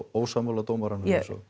ósammála dómaranum